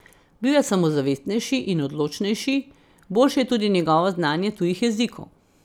Bil je samozavestnejši in odločnejši, boljše je tudi njegovo znanje tujih jezikov.